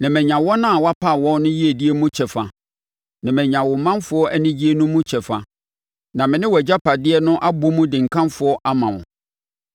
na manya wɔn a wapa wɔn no yiedie mu kyɛfa, na manya wo manfoɔ anigyeɛ no mu kyɛfa na me ne wʼagyapadeɛ no abɔ mu de nkamfo ama wo.